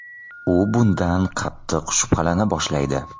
U bundan qattiq shubhalana boshlaydi.